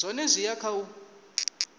zwone zwi ya kha u